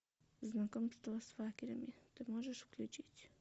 знакомство с факерами ты можешь включить